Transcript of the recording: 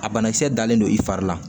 A banakisɛ dalen don i fari la